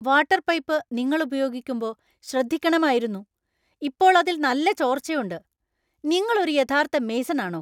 Water pipe നിങ്ങള്‍ ഉപയോഗിക്കുമ്പോ ശ്രദ്ധിക്കണമായിരുന്നു, ഇപ്പോൾ അതില്‍ നല്ല ചോർച്ചയുണ്ട്! നിങ്ങൾ ഒരു യഥാർത്ഥ മേസൺ ആണോ?